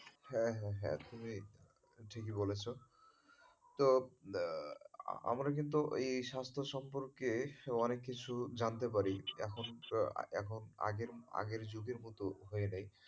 হ্যাঁ হ্যাঁ হ্যাঁ একদমই ঠিকই বলেছো তো আমরা কিন্তু এই স্বাস্থ্য সম্পর্কে বেশ অনেক কিছু জানতে পারি এখন আগের যুগের মতো এ নেই।